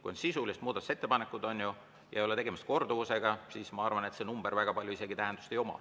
Kui on sisulised muudatusettepanekud, ei ole tegemist korduvusega, siis ma arvan, et see number väga palju isegi tähendust ei oma.